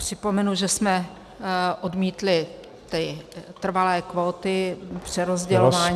Připomenu, že jsme odmítli ty trvalé kvóty přerozdělování migrantů.